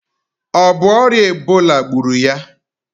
O bu oria Ebola gburu ya?